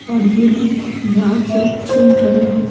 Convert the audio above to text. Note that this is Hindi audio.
और ये लोग ध्यान से सुन रहे हैं।